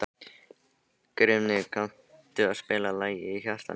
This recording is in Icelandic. Grímnir, kanntu að spila lagið „Í hjarta mér“?